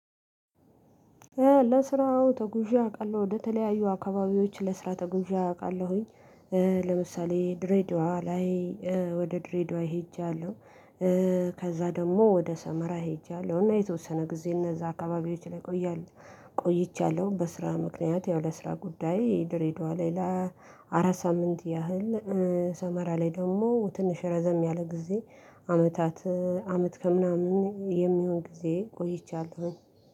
ለስራ አዎ ተጉዜ አውቃለሁ ወደተለያዩ አካባቢዎች ለስራ ተጉዜ አውቃለሁኝ ለምሳሌ ድሬድዋ ላይ ወደ ድሬድዋ ሄጃለሁ። ከዛ ደግሞ ወደ ሰመራ ሄጃለሁ እና የተወሰነ ጊዜ እነዛ አካባቢዎች ላይ ቆያለሁ። ቆይቻለሁ በስራ ምክንያት ያው ለስራ ጉዳይ ድሬዳዋ ላይ ለአራት ሳምንት ያህል። ሰመራ ላይ ደግሞ ትንሽ ረዘም ያለ ጊዜ አመታት አመት ከምናምን የሚሆን ጊዜ ቆይቻለሁ።